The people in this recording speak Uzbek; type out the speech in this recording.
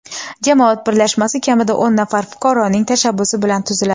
Jamoat birlashmasi kamida o‘n nafar fuqaroning tashabbusi bilan tuziladi.